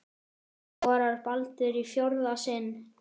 Skorar Baldur í fjórða sinn?